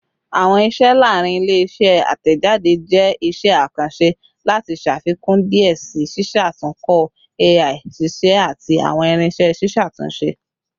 Awọn iṣẹ laarin ile-iṣẹ atẹjade jẹ iṣẹ akanṣe lati ṣafikun diẹ sii ṣiṣatunkọ AI-ṣiṣẹ ati awọn irinṣẹ ṣiṣatunṣe